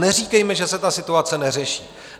Neříkejme, že se ta situace neřeší.